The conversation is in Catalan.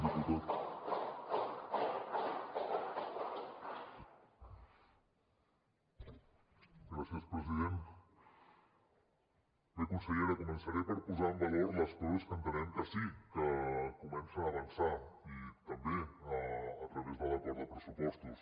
bé consellera començaré per posar en valor les coses que entenem que sí que comencen a avançar i també a través de l’acord de pressupostos